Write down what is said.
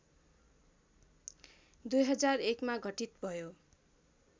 २००१ मा घटित भयो